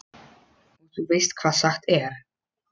Og þú veist hvað sagt er?